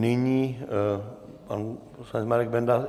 Nyní pan poslanec Marek Benda.